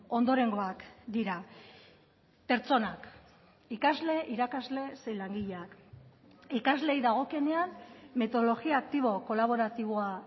ondorengoak dira pertsonak ikasle irakasle zein langileak ikasleei dagokienean metodologia aktibo kolaboratiboa